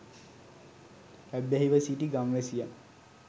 ඇබ්බැහිව සිටි ගම්වැසියන්